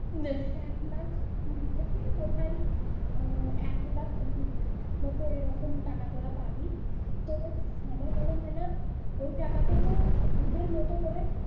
এক লাখ কুড়ি থেকে বোধয় আহ এক লাখ পঁচাত্তর মতো ঐরকম টাকা তোরা পাবি। তোর আমার মনে হয় না ওই টাকাতে তোর wooden মতো করে